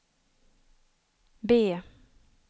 B